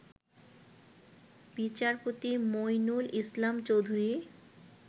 বিচারপতি মঈনুল ইসলাম চৌধুরী